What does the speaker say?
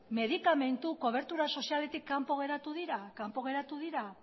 medikamentu kobertura sozialetik kanpo geratu dira kanpo geratu dira